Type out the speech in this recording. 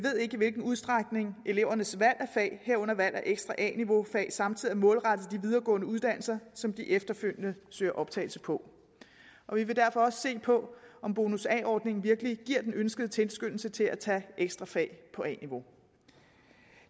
ikke udstrækning elevernes valg af fag herunder valg af ekstra a niveau fag samtidig er målrettet de videregående uddannelser som de efterfølgende søger optagelse på vi vil derfor også se på om bonus a ordningen virkelig giver den ønskede tilskyndelse til at tage ekstra fag på a niveau